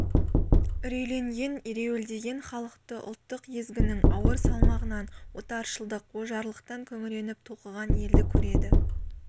үрейленген ереуілдеген халықты ұлттық езгінің ауыр салмағынан отаршылдық ожарлықтан күңіреніп толқыған елді көреді